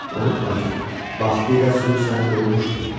Unutma ki, vaxtilə sürü səni qovmuşdu.